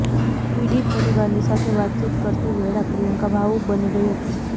પિડિત પરિવારની સાથે વાતચીત કરતી વેળા પ્રિયંકા ભાવુક બની ગઇ હતી